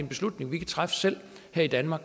beslutning vi kan træffe selv her i danmark